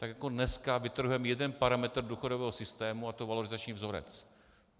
Tak jako dneska vytrhujeme jeden parametr důchodového systému, a to valorizační vzorec.